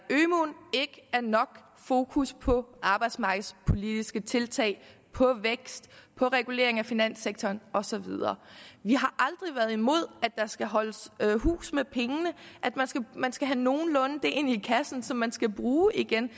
er nok fokus på arbejdsmarkedspolitiske tiltag på vækst på regulering af finanssektoren og så videre vi har aldrig været imod at der skal holdes hus med pengene at man skal man skal have nogenlunde det ind i kassen som man skal bruge igen